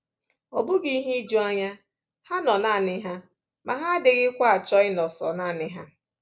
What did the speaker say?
Ọ bụghị ihe ijuanya, ha nọ nanị ha ma ha adịghịkwa achọ ịnọ sọ nanị ha.